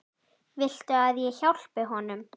Viltu að ég hjálpi honum?